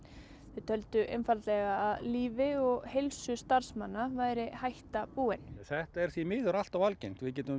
fallvarna töldu einfaldlega að lífi og heilsu starfsmanna væri hætta búin þetta er því miður allt of algengt við getum